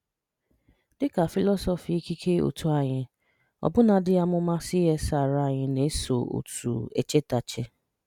Dị́ ka fị̀lọ́sọ́fị́ ìkikè òtù ànyì, ọbụ̀nàdì àmùmá CSR ànyì na-esò́ otu échètàchè